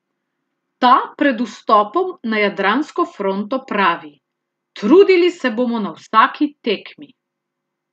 Ta pred vstopom na jadransko fronto pravi: "Trudili se bomo na vsaki tekmi.